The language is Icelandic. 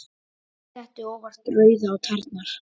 Sletti óvart rauðu ofan á tærnar.